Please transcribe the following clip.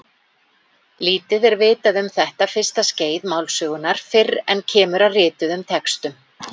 Lítið er vitað um þetta fyrsta skeið málsögunnar fyrr en kemur að rituðum textum.